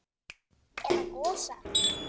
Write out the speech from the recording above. Eða Gosa?